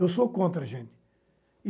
Eu sou contra, gente.